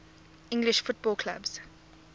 english football clubs